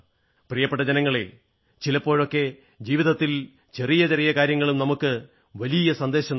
പ്രിയപ്പെട്ട ജനങ്ങളേ ചിലപ്പോഴൊക്കെ ജീവിതത്തിൽ ചെറിയ ചെറിയ കാര്യങ്ങളും നമുക്ക് വളരെ വലിയ സന്ദേശം നല്കുന്നു